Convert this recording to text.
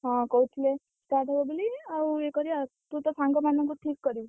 ହଁ କହୁଥିଲେ start ହବ ବୋଲି ଆଉ ଇଏ କରିବା ଆଉ ତୁ ତ ସାଙ୍ଗମାନଙ୍କୁ ଠିକ୍ କରିବୁ।